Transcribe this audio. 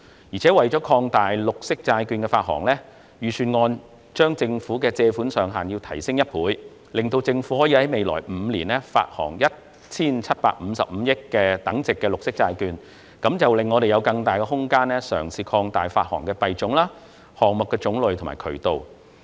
此外，為擴大綠色債券發行，預算案將政府的借款上限提升一倍，讓政府可在未來5年發行 1,755 億元等值的綠色債券，令我們有更大空間嘗試擴大發行的幣種、項目種類和發行渠道。